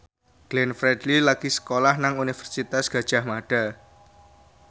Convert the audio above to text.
Glenn Fredly lagi sekolah nang Universitas Gadjah Mada